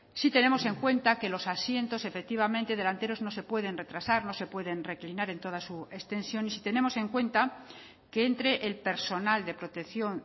si tenemos en cuenta que los asientos efectivamente delanteros no se pueden retrasar no se pueden reclinar en toda su extensión y si tenemos en cuenta que entre el personal de protección